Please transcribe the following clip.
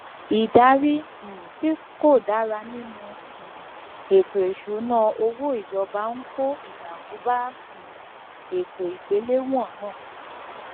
ìdarí um tí kò dára nínú um ètò ìṣúnná owó ìjọba ń kó ìdààmú bá um ètò igbelewọn náà